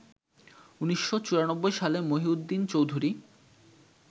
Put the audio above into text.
১৯৯৪ সালে মহিউদ্দিন চৌধুরী